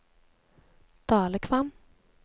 Dalekvam